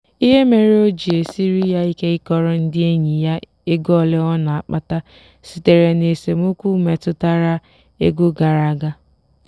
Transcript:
ihe mere o ji esiri ya ike ịkọrọ ndị enyi ya ego ole ọ na-akpata sitere na esemokwu metụtara ego gara aga.